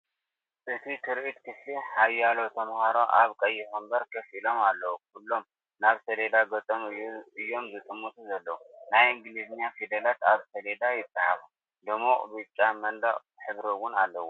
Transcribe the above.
እቲ ትርኢት ክፍሊ፤ ሓያሎ ተማሃሮ ኣብ ቀይሕ መንበር ኮፍ ኢሎም ኣለዉ። ኩሎም ናብ ሰሌዳ ገጾም እዮም ዝጥምቱ ዘለዉ። ናይ እንግሊዝኛ ፊደላት ኣብ ሰሌዳ ይጽሓፉ። ድሙቕ ብጫ መንደቕ ኣለዎ።